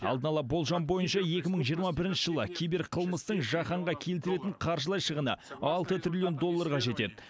алдын ала болжам бойынша екі мың жиырма бірінші жылы киберқылмыстың жаһанға келтіретін қаржылай шығыны алты триллион долларға жетеді